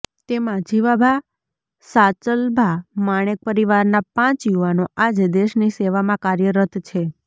તેમાં જીવાભા સાચલભા માણેક પરિવારનાં પાંચ યુવાનો આજે દેશની સેવામાં કાર્યરત છે